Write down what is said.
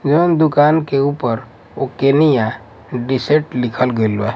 जवान दुकान के ऊपर ओकेनियाँ दे सेट लिखल गइल बा--